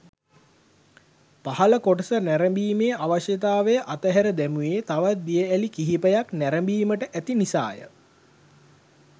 පහළ කොටස නැරඹීමේ අවශ්‍යතාව අත හැර දැමුවේ තවත් දිය ඇලි කීපයක් නැරඹීමට ඇති නිසාය.